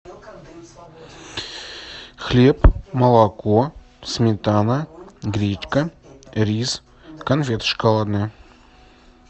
хлеб молоко сметана гречка рис конфеты шоколадные